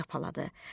Çapaladı.